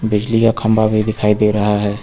बिजली का खंभा भी दिखाई दे रहा है।